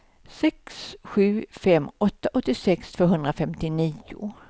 sex sju fem åtta åttiosex tvåhundrafemtionio